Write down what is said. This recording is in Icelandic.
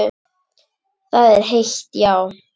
Það er heitt, já.